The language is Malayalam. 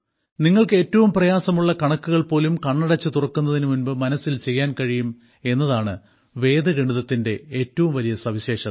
നിങ്ങൾക്ക് ഏറ്റവും പ്രയാസമുള്ള കണക്കുകൾ പോലും കണ്ണടച്ചു തുറക്കുന്നതിനു മുൻപ് മനസ്സിൽ ചെയ്യാൻ കഴിയും എന്നതാണ് വേദഗണിതത്തിന്റെ ഏറ്റവും വലിയ സവിശേഷത